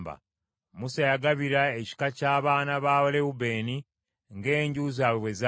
Musa yagabira ekika ky’abaana ba Lewubeeni ng’enju zaabwe bwe zaali: